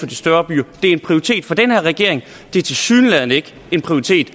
de større byer det er en prioritet for den her regering det er tilsyneladende ikke en prioritet